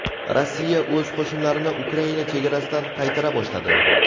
Rossiya o‘z qo‘shinlarini Ukraina chegarasidan qaytara boshladi.